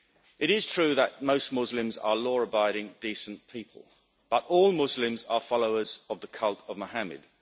It is true that most Muslims are law abiding, decent people, but all Muslims are followers of the cult of Mohammed.